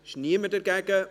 – Es ist niemand dagegen.